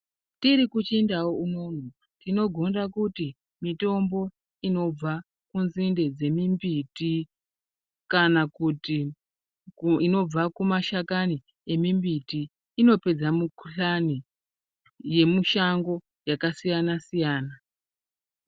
Tiri kuchindau unono tinogonda kuti mitombo inobva kunzinde dzemimbiti kana kuti inobva kumashakani emimbiti inopedza mukuhlani yemushango yakasiyana siyana.